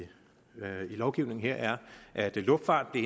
lovgivningen her er at luftfarten